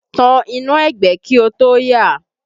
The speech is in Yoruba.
Tan iná ẹgbẹ́ kí o tó yà!